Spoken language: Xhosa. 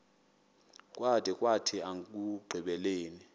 kwada kwathi ekugqibeleni